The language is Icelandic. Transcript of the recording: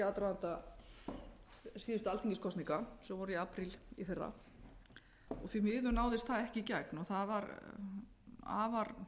aðdraganda síðustu alþingiskosninga sem voru í apríl í fyrra því miður náðist það ekki í gegn það var afar